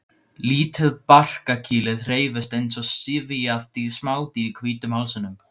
Lítið barkakýlið hreyfist eins og syfjað smádýr í hvítum hálsinum.